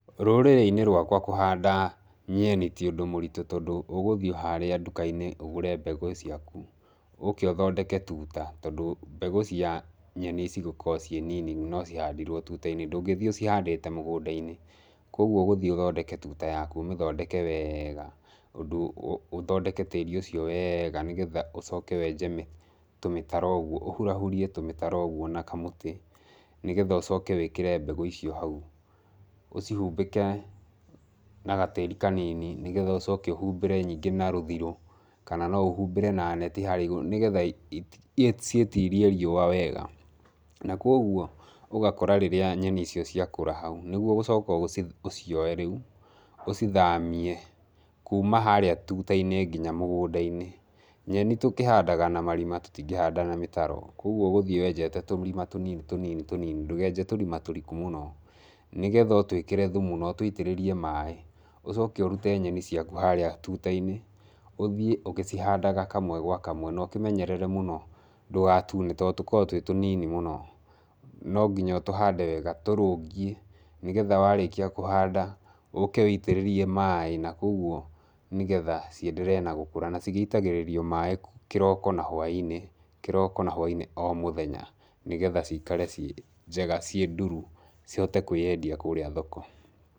Rũrĩrĩ-inĩ rwakwa kũhanda nyeni ti ũndũ mũritũ tondũ ũgũthiĩ harĩa nduka-inĩ, ũgũre mbegũ ciaku, ũke ũthondeke tuta, tondũ mbegũ cia nyeni cĩgũkorwo ciĩ nini no cihandirwo tuta-inĩ, ndũngĩthiĩ ũhandĩte mũgũnda-inĩ. Koguo ũgũthiĩ ũthondeke tuta yaku, ũmĩthondeke wega ũndũ, ũthondeke tĩri ũcio wega nĩgetha ũcoke wenje tũmĩtaro ũguo, ũhurahurie tũmĩtaro ũguo na kamũtĩ nĩgetha ũcoke wĩkĩre mbegũ icio hau, ũcihumbĩke na gatĩri kanini, nĩgetha ũcoke ũhumbĩre nyingĩ na rũthirũ, kana no ũhumbĩre na neti harĩa igũrũ nĩgetha ciĩtirie riũa wega, na koguo ũgakora rĩrĩa nyeni icio cia kũra hau, nĩguo ũgũcoka ũcioe rĩu ũcithamie kuuma harĩa tuta-inĩ nginya mũgũnda-inĩ. Nyeni tũkĩhandaga na marima tũtingĩhanda na mĩtaro, koguo ũgũthiĩ wenjete tũrima tũnini tũnini tũnini, ndũkenje tũrima tũriku mũno, nĩgetha ũtwĩkĩre thumu na ũtũitĩrĩrie maĩ, ũcoke ũrute nyeni ciaku harĩa tuta-inĩ, ũthiĩ ũgĩcihandaga kamwe gwa kamwe na ũkĩmenyerere mũno ndũgatune tondũ tũkoragwo twĩ tũnini mũno, nonginya ũtũhande wega tũrũngie, nĩgetha warĩkia kũhanda ũke wũitĩrĩrie maĩ na koguo nĩgetha cienderee na gũkũra, na cigĩitagĩrĩrio maĩ kĩroko na hwainĩ kĩroko na hwainĩ o mũthenya, nĩgetha ciikare ciĩ njega, ciĩ nduru, cihote kwĩyendia kũrĩa thoko.